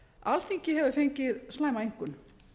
alþingi hefur fengið slæma einkunn